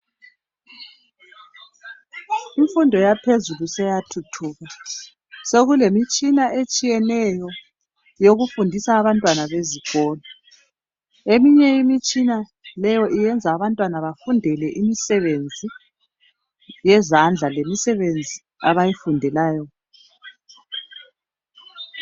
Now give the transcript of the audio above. Imfundo yaphezulu seyathuthuka .Sokulemitshina etshiyeneyo yokufundisa abantwana bezikolo Eminye imitshina leyo iyenza abantwana bafundele imisebenzi yezandla lemisebenzi abayifundelayo .